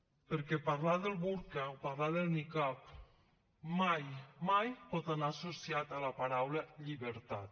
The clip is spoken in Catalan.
perquè parlar del burca o parlar del nicab mai mai pot anar associat a la paraula llibertat